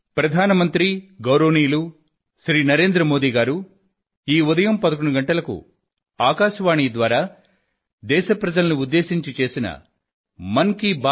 ప్రియమైన నా దేశ ప్రజలారా నమస్కారం